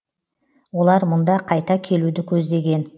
олар мұнда қайта келуді көздеген